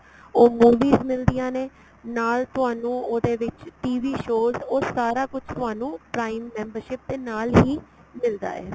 ਉਹ movies ਮਿਲਦੀਆਂ ਨੇ ਨਾਲ ਤੁਹਾਨੂੰ ਉਹਦੇ ਵਿੱਚ TV shows ਉਹ ਸਾਰਾ ਕੁੱਝ ਤੁਹਾਨੂੰ prime membership ਦੇ ਨਾਲ ਹੀ ਮਿਲਦਾ ਏ